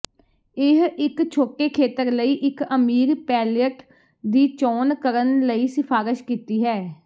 ਇਹ ਇੱਕ ਛੋਟੇ ਖੇਤਰ ਲਈ ਇੱਕ ਅਮੀਰ ਪੈਲਅਟ ਦੀ ਚੋਣ ਕਰਨ ਲਈ ਸਿਫਾਰਸ਼ ਕੀਤੀ ਹੈ